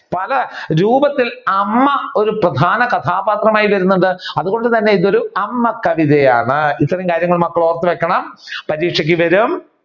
പല രൂപത്തിൽ അമ്മ ഒരു പ്രധാന കഥാപാത്രമായി വരുന്നുണ്ട് അതുകൊണ്ട് തന്നെ ഇത് ഒരു അമ്മ കവിതയാണ് ഇത്രയും കാര്യങ്ങൾ മക്കൾ ഓർത്തു വെക്കണം പരീക്ഷക്ക് വരും